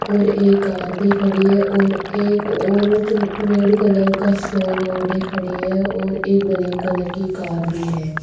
और ये कार भी खड़ी है और एक औरत रेड कलर का शॉल ओढ़े खड़ी है और एक ब्लैक कलर की कार भी है।